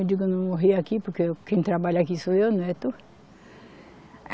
Eu digo, eu não morri aqui porque quem trabalha aqui sou eu, não é tu.